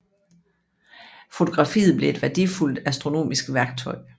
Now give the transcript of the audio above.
Fotografiet blev et værdifuldt astronomisk værktøj